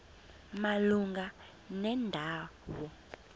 malunga nenda wo